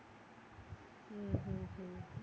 ഉം ഉം ഉം